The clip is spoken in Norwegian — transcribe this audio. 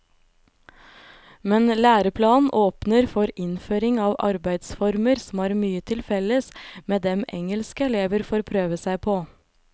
Men læreplanen åpner for innføring av arbeidsformer som har mye felles med dem engelske elever får prøve seg på.